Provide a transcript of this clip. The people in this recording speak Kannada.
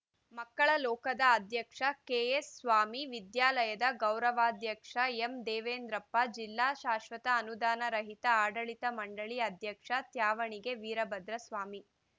ಮಕ್ಕಳ ಲೋಕದ ಅಧ್ಯಕ್ಷ ಕೆಎನ್‌ಸ್ವಾಮಿ ವಿದ್ಯಾಲಯದ ಗೌರವಾಧ್ಯಕ್ಷ ಎಂದೇವೆಂದ್ರಪ್ಪ ಜಿಲ್ಲಾ ಶಾಶ್ವತ ಅನುದಾನ ರಹಿತ ಆಡಳಿತ ಮಂಡಳಿ ಅಧ್ಯಕ್ಷ ತ್ಯಾವಣಿಗೆ ವೀರ ಭದ್ರಸ್ವಾಮಿ